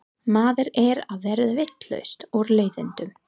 Maður er að verða vitlaus úr leiðindum.